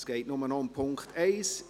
es geht nur noch um den Punkt 1.